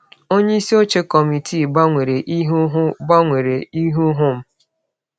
Onye isi oche kọmitii gbanwere ihu hụ gbanwere ihu hụ m.